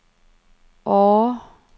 Årre